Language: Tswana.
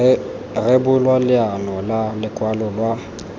rebolwa leano la lokwalo lwa